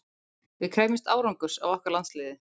Við krefjumst árangurs af okkar landsliði.